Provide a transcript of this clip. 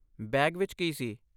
Bag ਵਿੱਚ ਕੀ ਸੀ?